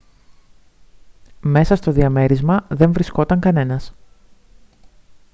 μέσα στο διαμέρισμα δεν βρισκόταν κανένας